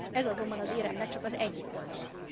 Ez azonban az éremnek csak az egyik oldala.